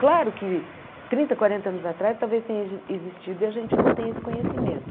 Claro que trinta, quarenta anos atrás talvez tenha zi existido e a gente não tem esse conhecimento.